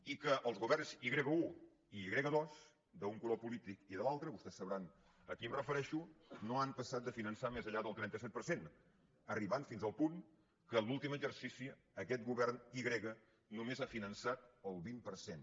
i que els governs i grega un i i grega dos d’un color polític i de l’altre vostès deuen saber a qui em refereixo no han passat de finançar més enllà del trenta set per cent arribant fins al punt que en l’últim exercici aquest govern i grega només ha finançat el vint per cent